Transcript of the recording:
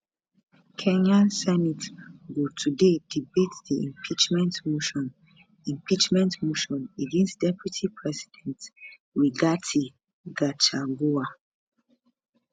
kenya senate go today debate di impeachment motion impeachment motion against deputy president rigathi gachagua